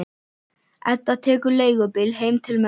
Edda tekur leigubíl heim til mömmu.